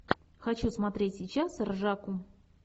хочу смотреть сейчас ржаку